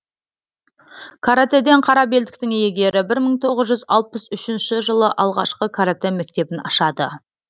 каратэден қара белдіктің иегері мың тоғыз жүз алпыс үшінші жылы алғашқы каратэ мектебін ашады